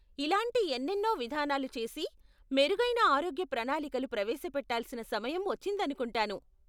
ఇలాంటి ఎన్నెన్నో విధానాలు చేసి, మెరుగైన ఆరోగ్య ప్రణాలికలు ప్రవేశపెట్టాల్సిన సమయం వచ్చిందనుకుంటాను.